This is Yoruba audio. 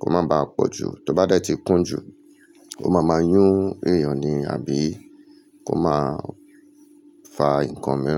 kó má baà pọ̀ jù, tó bá dé tí kún jù, ó máa máa yún èèyàn ni àbí kó máa fa nǹkan mi.